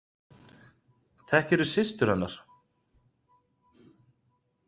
Þekkirðu systur hennar?